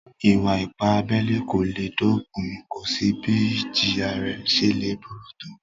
Ìwà-ipá abẹ́lẹ́ kò le dopin, kò sí bí ìjìyà rẹ̀ ṣe le burú tó